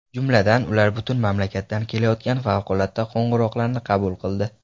Jumladan, ular butun mamlakatdan kelayotgan favqulodda qo‘ng‘iroqlarni qabul qildi.